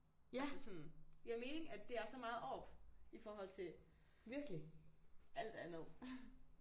Altså sådan giver mening at det er så meget oppe i forhold til alt andet